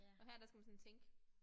Og her der skal man sådan tænke